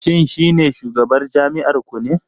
Shin shi ne shugabar jami'ar ku ne?